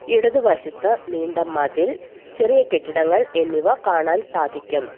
ഇടതുവശത്ത് നീണ്ട മതിൽ ചെറിയ കെട്ടിടങ്ങൾ എന്നിവ കാണാൻ സാധിക്കും.